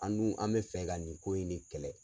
An dun an be fɛ ka nin ko in ne kɛlɛ